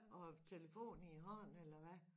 Og telefon i æ hånd eller hvad